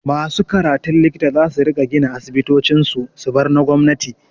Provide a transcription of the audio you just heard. Masu karatun likita zasu riƙa gina asibitocin su, su bar na gwamnati.